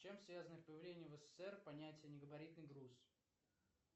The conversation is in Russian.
с чем связано появление в ссср понятие негабаритный груз